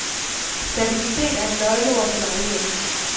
Stabilitet er et nøgleordet for mange mennekser.